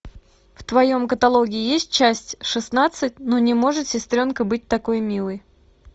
в твоем каталоге есть часть шестнадцать ну не может сестренка быть такой милой